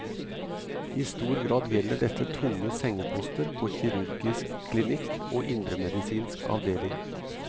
I stor grad gjelder dette tunge sengeposter på kirurgisk klinikk og indremedisinsk avdeling.